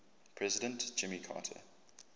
president jimmy carter